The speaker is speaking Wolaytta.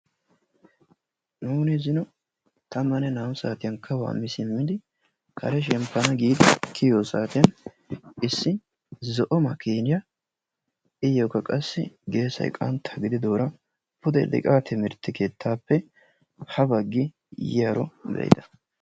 Nuuni zino tammanne naa'u saatiyan kawuwaa mii simmidi karee shemppanawu gidi kiyiyo saatiyan issi zo'o makiniyaa iyokka qassi geesay qantta gididora pudde liiqa timirttee keettape ha baggi yiyaaro beida.